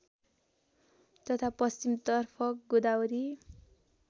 तथा पश्चिमतर्फ गोदावरी